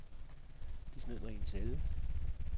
De smed mig i en celle.